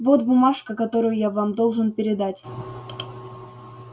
вот бумажка которую я вам должен передать